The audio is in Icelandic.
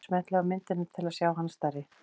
Smellið á myndina til að sjá hana stærri.